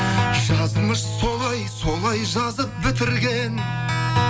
жазмыш солай солай жазып бітірген